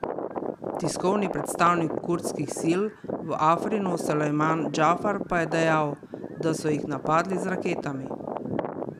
Tiskovni predstavnik kurdskih sil v Afrinu Sulejman Džafar pa je dejal, da so jih napadli z raketami.